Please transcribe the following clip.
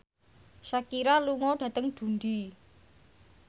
Shakira lunga dhateng Dundee